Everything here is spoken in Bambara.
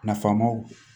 Nafamaw